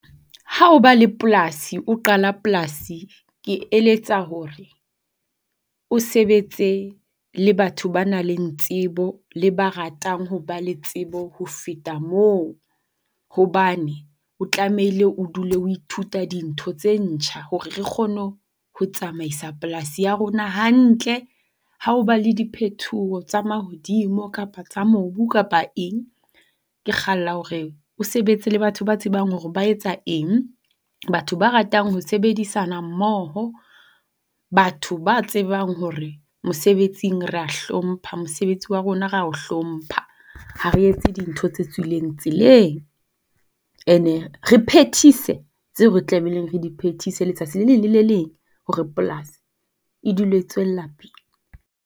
Ha o ba le polasi, o qala polasi ke eletsa hore o sebetse le batho ba nang le tsebo le ba ratang hoba le tsebo ho feta moo hobane o tlamehile o dule ho ithuta dintho tse ntjha hore re kgone ho tsamaisa polasi ya rona hantle. Ha ho ba le diphethoho tsa mahodimo kapa tsa mobu kapa eng. Ke kgalla hore o sebetse le batho ba tsebang hore ba etsa eng, batho ba ratang ho sebedisana mmoho, batho ba tsebang hore mosebetsing re a hlompha mosebetsi wa rona re a o hlompha ha re etse dintho tse tswileng tseleng. Ene re phethise tseo re tlamehileng re diphethise letsatsi le leng le le leng hore polasi e dul e tswella pele.